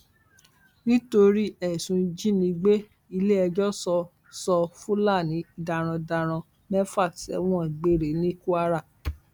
nítorí ẹsùn ìjínigbé iléẹjọ sọ sọ fúlàní darandaran mẹfà sẹwọn gbére ní kwara